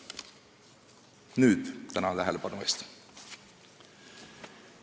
Nüüd aga tänan tähelepanu eest!